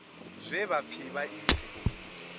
zwe vha pfi vha ite